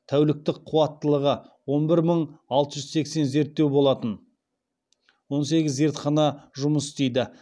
тәуліктік қуаттылығы он бір мың алты жүз сексен зерттеу болатын он сегіз зертхана жұмыс істейді